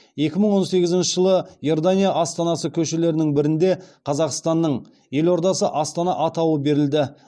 екі мың он сегізінші жылы иордания астанасы көшелерінің бірінде қазақстанның елордасы астана атауы берілді